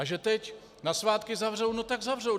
A že teď na svátky zavřou, no tak zavřou.